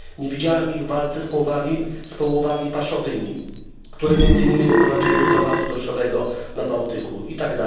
Nie widziałem ich w walce z połowami paszowymi, które między innymi doprowadziły do dramatu dorszowego na Bałtyku itd.